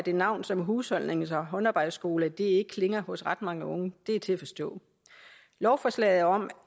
at et navn som husholdnings og håndarbejdsskole ikke klinger hos ret mange unge er til at forstå lovforslaget om